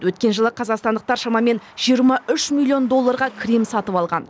өткен жылы қазақстандықтар шамамен жиырма үш миллион долларға крем сатып алған